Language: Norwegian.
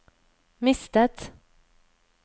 mistet